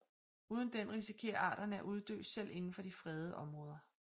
Uden den risikerer arterne at uddø selv inden for de fredede områder